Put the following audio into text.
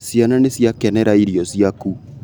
Ciana nĩciakenera irio ciaku